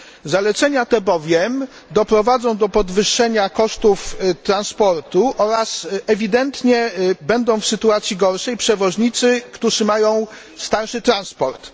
Zalecenia te bowiem doprowadzą do podwyższenia kosztów transportu oraz ewidentnie w gorszej sytuacji będą przewoźnicy, którzy mają starszy transport.